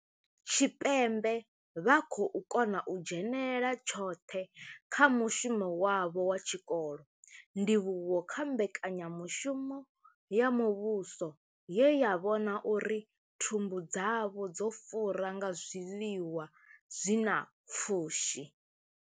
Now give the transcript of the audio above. Tshipembe vha khou kona u dzhenela tshoṱhe kha mushumo wavho wa tshikolo, ndivhuwo kha mbekanyamushumo ya muvhuso ye ya vhona uri thumbu dzavho dzo fura nga zwiḽiwa zwi na pfushi.